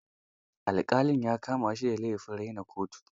Alƙali ya kama shi da laifin raina kotu.